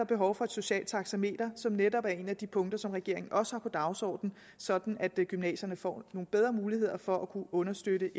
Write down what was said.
behov for et socialt taxameter som netop er et af de punkter som regeringen også har på dagsordenen sådan at gymnasierne får nogle bedre muligheder for at kunne understøtte